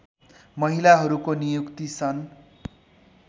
महिलाहरूको नियुक्ति सन्